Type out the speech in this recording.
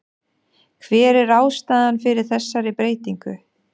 Hver er ástæðan fyrir þessari breytingu?